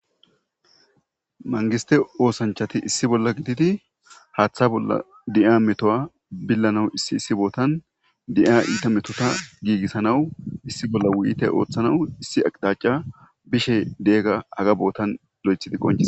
Mangiste oosanchati issi bolla gididi haaththa bolla de'iya metuwa billanawu issi issi bootan de'iya iita metota giigissanawu issi bolla wuyiyite ooththanawu issi aqixaca bishe de'iyagga haga bootan lo'ethidi qonce.